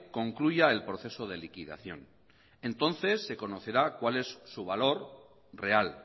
concluya el proceso de liquidación entonces se conocerá cuál es su valor real